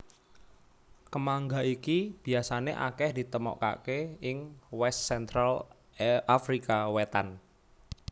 Kemangga iki biasané akèh ditemokaké ing West Central Afrika Wétan